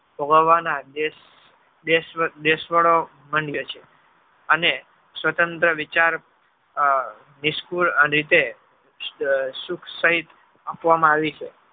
ભોગાવાના દેશ~ દેશવ~ દેશ વાળો બન્યો છે અને સ્વતંત્ર વિચાર આ discu રીતે સુખસહિત આપવામાં આવી છે